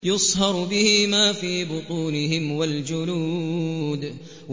يُصْهَرُ بِهِ مَا فِي بُطُونِهِمْ وَالْجُلُودُ